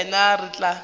nna le yena re tla